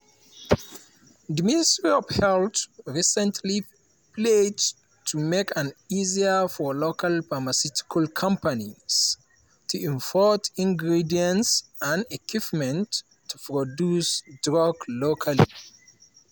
di ministry of health recently pledge to make am easier for local pharmaceutical companies to import ingredients and equipment to produce drugs locally.